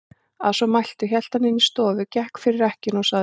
Að svo mæltu hélt hann inn í stofu, gekk fyrir ekkjuna og sagði